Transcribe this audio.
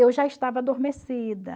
eu já estava adormecida.